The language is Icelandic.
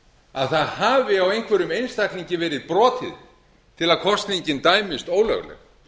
að það hafi á einhverjum einstaklingi verið brotið til að kosningin dæmist ólögleg